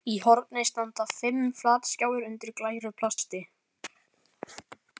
Í horni standa fimm flatskjáir undir glæru plasti.